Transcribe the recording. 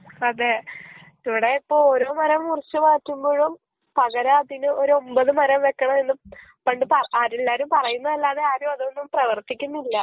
അതെ ഇവിടെപ്പോ ഓരോ മരം മുറിച്ച് മാറ്റുമ്പഴും പകര അതിന് ഒരൊമ്പത് മരം വെക്കണമെന്ന് പണ്ട് പറ ആദ്യല്ലാരും പറയുന്നതല്ലാതെ ആരും അതൊന്നും പ്രവർത്തിക്കുന്നില്ല